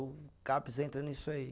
O Caps entra nisso aí.